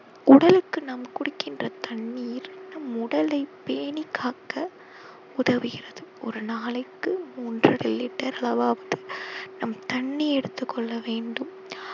உடலுக்கு நாம் குடிக்கின்ற தண்ணீர் நம் உடலை பேணி காக்க உதவுகிறது ஒரு நாளைக்கு மூன்றரை liter அளவாவது நாம் தண்ணீ எடுத்துக் கொள்ள வேண்டும்